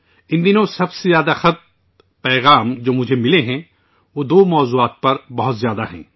ان دنوں مجھے جو خطوط اور پیغامات موصول ہوئے ہیں، ان میں سے زیادہ تر دو موضوعات پر ہیں